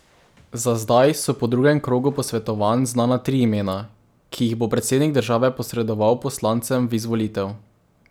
Za zdaj so po drugem krogu posvetovanj znana tri imena, ki jih bo predsednik države posredoval poslancem v izvolitev.